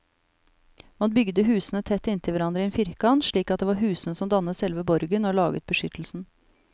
Man bygde husene tett inntil hverandre i en firkant, slik at det var husene som dannet selve borgen og laget beskyttelsen.